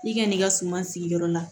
I ka n'i ka suman sigiyɔrɔ la